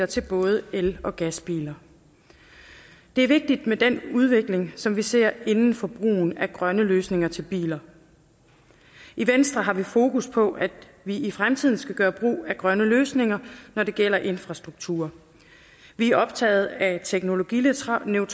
til både el og gasbiler det er vigtigt med den udvikling som vi ser inden for brugen af grønne løsninger til biler i venstre har vi fokus på at vi i fremtiden skal gøre brug af grønne løsninger når det gælder infrastruktur vi er optaget af teknologineutrale